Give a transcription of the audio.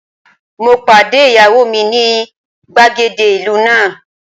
Mo pàdé ìyàwó mi ní gbàgede ìlú náà.